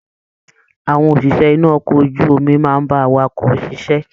Àwọn òṣìṣẹ́ inú okọ̀ ojú omi máa n bá àwàkọ̀ ṣiṣẹ.